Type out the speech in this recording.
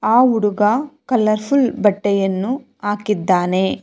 ಆ ಹುಡುಗ ಕಲರ್ಫುಲ್ ಬಟ್ಟೆಯನ್ನು ಹಾಕಿದ್ದಾನೆ.